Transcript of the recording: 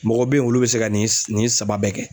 Mɔgɔw be yen olu be se ka nin saba bɛɛ kɛ.